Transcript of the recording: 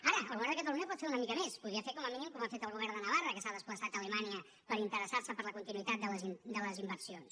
ara el govern de catalunya pot fer una mica més podria fer com a mínim com a fet el govern de navarra que s’ha desplaçat a alemanya per interessar se per la continuïtat de les inversions